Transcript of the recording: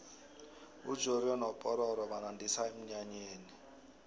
ujoriyo nopororo banandisa emnyanyeni